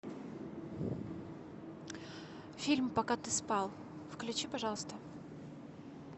фильм пока ты спал включи пожалуйста